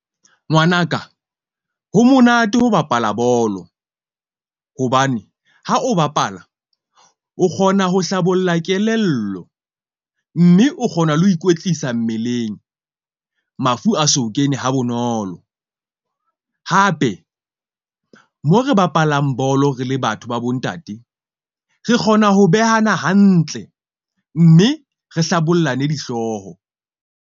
Ngwanaka ho monate ho bapala bolo. Hobane ha o bapala, o kgona ho hlabolla kelello mme o kgona le ho ikwetlisa mmeleng. Mafu a so kene ha bonolo hape mo re bapalang bolo, re le batho ba bo ntate. Re kgona ho behana hantle mme re hlabollane dihlooho.